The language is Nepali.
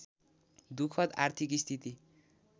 दुखद आर्थिक स्थिति